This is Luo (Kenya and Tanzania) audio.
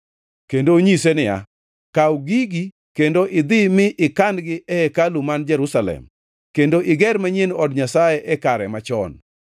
kendo onyise niya, “Kaw gigi kendo idhi mi ikan-gi e hekalu man Jerusalem. Kendo iger manyien od Nyasaye e kare machon.”